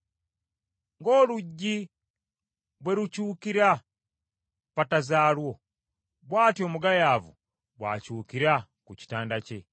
Ng’oluggi bwe lukyukira ku ppata zaalwo, bw’atyo omugayaavu bw’akyukira ku kitanda kye.